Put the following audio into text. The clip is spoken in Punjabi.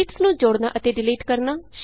ਸ਼ੀਟਸ ਨੂੰ ਜੋੜਨਾ ਅਤੇ ਡਿਲੀਟ ਕਰਨਾ